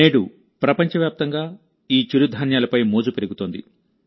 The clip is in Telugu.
నేడుప్రపంచవ్యాప్తంగాఈ చిరుధాన్యాలపై మోజు పెరుగుతోంది